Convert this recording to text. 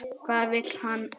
Hvað vill hann gera?